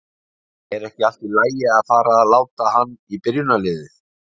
Er ekki allt í lagi að fara að láta hann í byrjunarliðið?